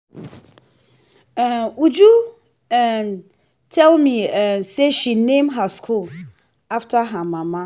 um uju um tell me um say she name her school after her mama